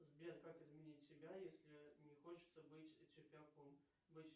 сбер как изменить себя если не хочется быть тюфяком быть